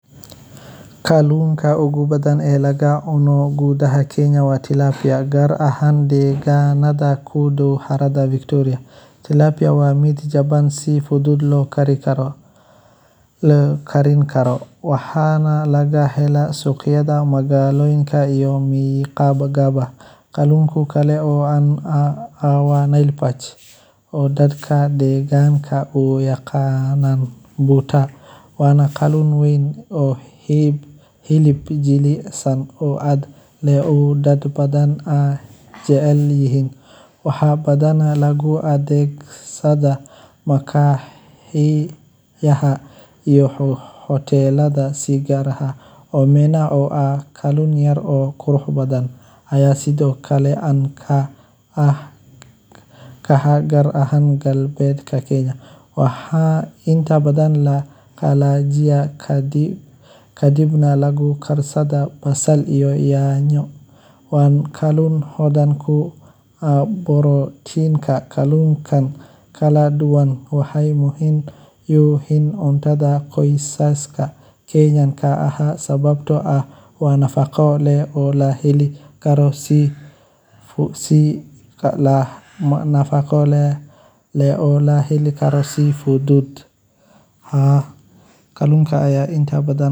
Kalluunka ugu badan ee laga cuno gudaha dalka Kenya waa Tilapia, gaar ahaan nooca laga helo harada . Tilapia waa kalluun caan ah oo si weyn looga isticmaalo suuqyada gudaha dalka, maadaama uu leeyahay dhadhan fiican, la heli karo si fudud, isla markaana uu qiimihiisu yahay mid dhexdhexaad ah oo ay dad badan awoodaan. Kalluunkaan waxaa si gaar ah loo beeraa lagana kalluumaystaa harooyinka waaweyn sida Victoria, Naivasha, iyo Turkana, wuxuuna qayb muhiim ah ka yahay ilaha nafqo ee dadka ku nool deegaanadaas. Tilapia wuxuu hodan ku yahay borotiin, fitamiin